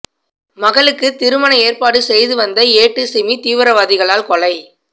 மகளுக்கு திருமண ஏற்பாடு செய்து வந்த ஏட்டு சிமி தீவிரவாதிகளால் கொலை